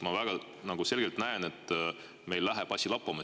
Ma väga selgelt näen, et meil läheb asi lappama.